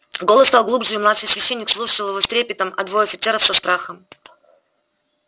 голос стал глубже и младший священник слушал его с трепетом а двое офицеров со страхом